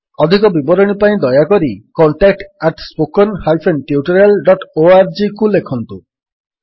ଅଧିକ ବିବରଣୀ ପାଇଁ ଦୟାକରି contact at spoken hyphen tutorial dot org contactspoken tutorialଓଆରଜିକୁ ଲେଖନ୍ତୁ